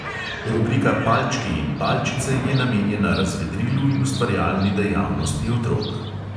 Rubrika palčki in palčice je namenjena razvedrilu in ustvarjalni dejavnosti otrok.